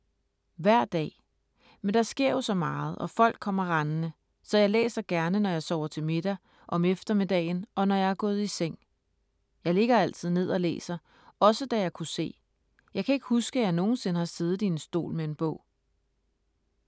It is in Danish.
Hver dag. Men der sker jo så meget og folk kommer rendende. Så jeg læser gerne når jeg sover til middag, om eftermiddagen og når jeg er gået i seng. Jeg ligger altid ned og læser - også da jeg kunne se. Jeg kan ikke huske, at jeg nogensinde har siddet i en stol med en bog.